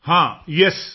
ਹਾਂ ਯੇਸ